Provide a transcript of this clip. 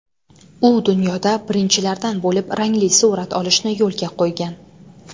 U dunyoda birinchilardan bo‘lib rangli surat olishni yo‘lga qo‘ygan.